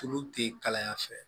Tulu tɛ kalaya fɛ